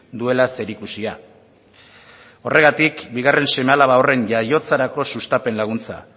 duela zerikusia horregatik bigarren seme alaba horren jaiotzarako sustapen laguntza